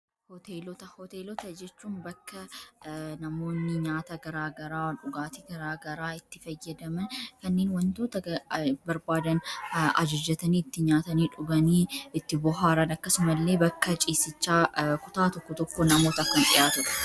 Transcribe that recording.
Hoteelota jechuun bakka namoonni nyaata garaagaraa dhugaatii garaagaraa itti fayyadaman kanneen wantoota barbaadan ajajatanii itti nyaatanii dhuganii itti bohaaran akkasuma illee bakka ciisichaa kutaa tokko tokko namootaan kan dhihaatu.